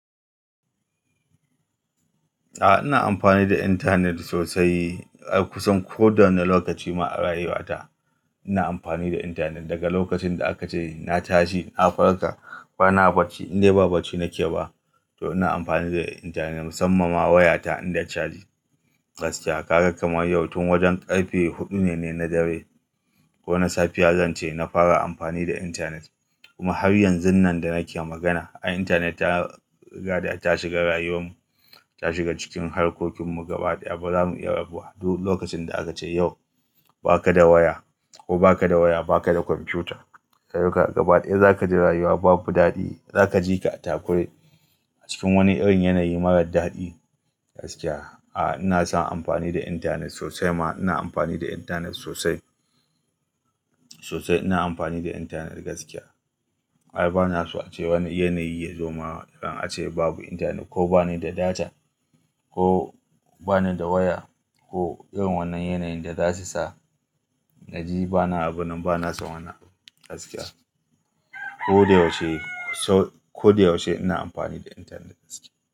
A'a, ina amfani da intanet sosai. Ai kusan koda wani lokaci ma a rayuwata ina amfani da intanet. Daga lokacin da aka ce na tashi, na farka ba na barci in dai ba barci na ke ba to ina amfani da intanet musamman ma wayata in da caji. Gaskiya, kaga kamar yau tun wajen ƙarfe huɗu ne na dare ko na safiya zan ce na fara amfani da intanet. Kuma har yanzun nan da nake magana, ai intanet ta rigada ta shiga rayuwar mu, ta shiga cikin harkokin mu gaba ɗaya ba za mu iya rabuwa. Duk lokacin da aka ce yau ba ka da waya ko ba ka da waya, ba ka da kwamfiyuta, yau kam gaba ɗaya za ka ji rayuwa babu daɗi. Za ka ji ka a takure a cikin wani irin yanayi marar daɗi. Gaskiya, a ina son amfani da intanet sosai ma ina amfani da intanet sosai, sosai ina amfani da intanet gaskiya. Ai ba na so ace wani yanayi ya zo ma in ace babu intanet ko ba ni da data ko ba ni da waya ko irin wannan yanayin da za su sa na ji ba na abun nan ba na son wannan abu gaskiya. Ko da yaushe, so-- ko da yaushe ina amfani da intanet gaskiya.